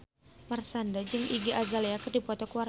Marshanda jeung Iggy Azalea keur dipoto ku wartawan